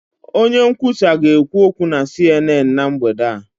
Onye nkwusa ga-ekwu okwu na CNN na mgbede a.